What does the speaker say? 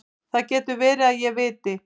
Það getur verið að ég viti.